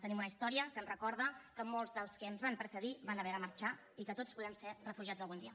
tenim una història que ens recorda que molts dels que ens van precedir van haver de marxar i que tots podem ser refugiats algun dia